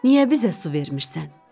Niyə bizə su vermişsən?